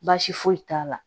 Baasi foyi t'a la